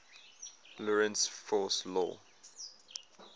lorentz force law